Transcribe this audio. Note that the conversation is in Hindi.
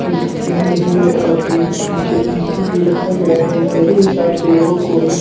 स्क्रीन लगी है और पीस पीछे पी_सी भी रखा गया है मेरे हिसाब से यह कोई--